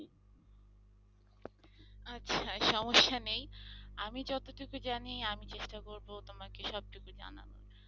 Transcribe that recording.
সমস্যা নেই আমি যতটুকু জানি আমি চেষ্টা করব তোমাকে সব টুকু জানানোর।